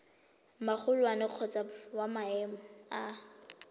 magolwane kgotsa wa maemo a